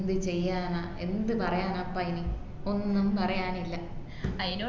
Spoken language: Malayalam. എന്ത് ചെയ്യാനാ എന്ത് പറയാനപ്പ ഇനി ഒന്നും പറയാനില്ല